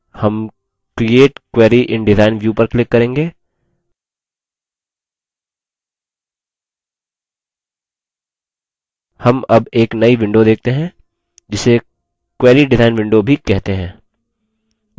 दायें panel पर हम create query in design view पर click करेंगे हम अब एक नई window देखते हैं जिसे query डिज़ाइन window भी कहते हैं